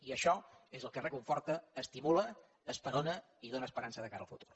i això és el que reconforta estimula esperona i dóna esperança de cara al futur